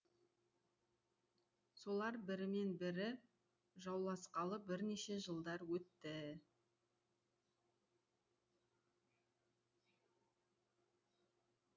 солар бірімен бірі жауласқалы бірнеше жылдар өтті